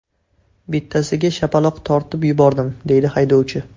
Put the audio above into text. Bittasiga shapaloq tortib yubordim, deydi haydovchi.